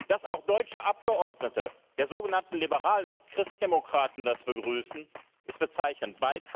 Dass auch deutsche Abgeordnete der sogenannten Liberalen und Christdemokraten das begrüßen, ist bezeichnend.